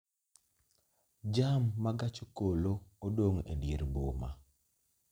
Jam ma gach okoloodong' e dier boma